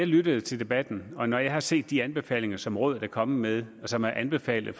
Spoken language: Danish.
lyttet til debatten og når jeg har set de anbefalinger som rådet er kommet med og som er anbefalet